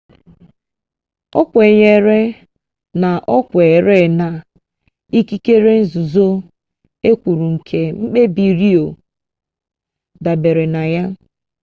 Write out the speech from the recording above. o kwenyere na o kweere na ikikere nzuzo e kwuru nke mkpebi roe dabere na ya